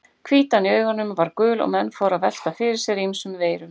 Hvítan í augunum var gul og menn fóru að velta fyrir sér ýmsum veirum.